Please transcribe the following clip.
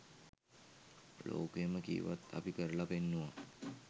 ලෝකයම කීවත් අපි කරලා පෙන්නුවා.